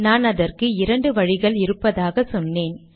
நான் அதற்கு இரண்டு வழிகள் இருப்பதாக சொன்னேன்